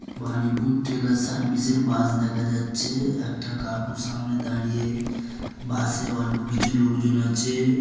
বানিপুর ট্রেগার সারভিশ এর বাস দেখা যাচ্ছে--- একটা কাকু সামনে দাড়িয়ে বাসে অল্প কিছু লোক জন আছে।